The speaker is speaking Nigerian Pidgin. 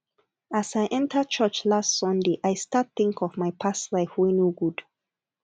as i enter church last sunday i start think of my past life wey no good